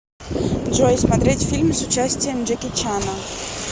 джой смотреть фильм с участием джеки чана